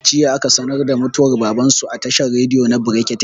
Jiya aka sanar da mutuwar baban su a tashar rediyo na brekete